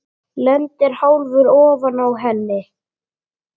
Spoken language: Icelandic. Lendir hálfur ofan á henni.